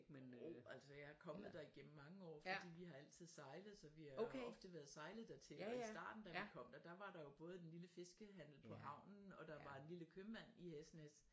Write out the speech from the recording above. Jo altså jeg er kommet der igennem mange år fordi vi har altid sejlet så vi har ofte været sejlet dertil og i starten da vi kom der der var der jo både den lille fiskehandel på havnen og der var en lille købmand i Hesnæs